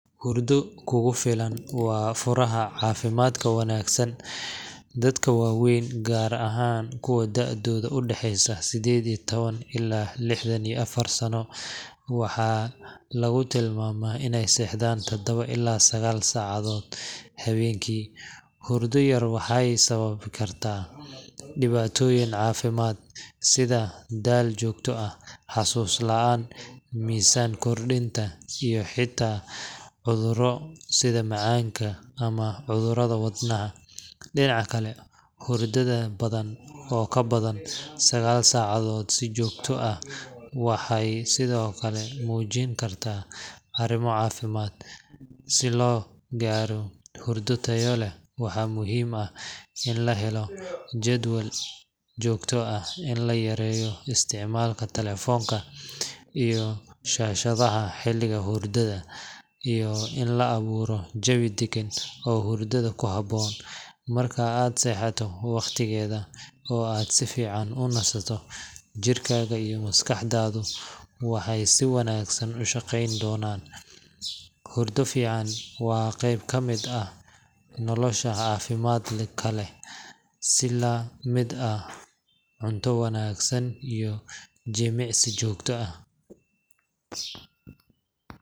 Hurdo kugu filan waa furaha caafimaadka wanaagsan. Dadka waaweyn, gaar ahaan kuwa da’doodu u dhaxayso sedded iyo tawan ilaa lixdan iyo afar sano, waxaa lagu taliyay inay seexdaan taddawo ilaa sagaal saacadood habeenkii. Hurdo yar waxay sababi kartaa dhibaatooyin caafimaad sida daal joogto ah, xasuus la’aan, miisaan kordhinta, iyo xitaa cudurro sida macaanka ama cudurrada wadnaha. Dhinaca kale, hurdada badan oo ka badan 9 saacadood si joogto ah waxay sidoo kale muujin kartaa arrimo caafimaad. Si loo gaaro hurdo tayo leh, waxaa muhiim ah in la helo jadwal joogto ah, in la yareeyo isticmaalka telefoonka iyo shaashadaha xilliga hurdada, iyo in la abuuro jawi deggan oo hurdada ku habboon. Marka aad seexato waqtigeeda oo aad si fiican u nasato, jidhkaaga iyo maskaxdaadu waxay si wanaagsan u shaqayn doonaan. Hurdo fiican waa qayb ka mid ah nolosha caafimaadka leh si la mid ah cunto wanaagsan iyo jimicsi joogto ah.